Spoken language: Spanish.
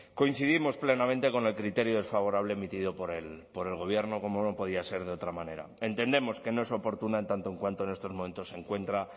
coincidimos plenamente con el criterio desfavorable emitido por el gobierno como no podía ser de otra manera entendemos que no es oportuna en tanto en cuanto en estos momentos se encuentra